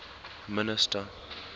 minister